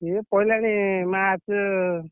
ସିଏ ପଇଲାଣି March ।